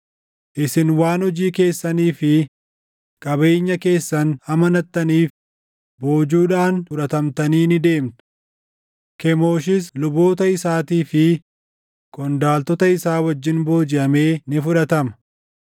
Isin waan hojii keessanii fi qabeenya keessan amanattaniif, boojuudhaan fudhatamtanii ni deemtu; Kemooshis luboota isaatii fi qondaaltota isaa wajjin boojiʼamee ni fudhatama.